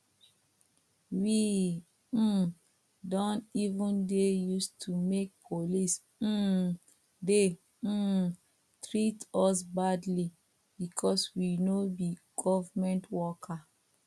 we um don even dey use to make police um dey um treat us badly because we no be government worker